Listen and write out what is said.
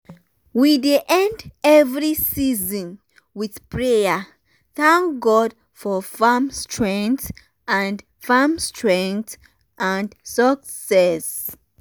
we dey end every season with prayer thank god for farm strength and farm strength and success.